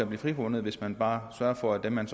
blive frifundet hvis man bare sørger for at dem man